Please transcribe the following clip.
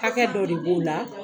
Kakɛ dɔ b'u la.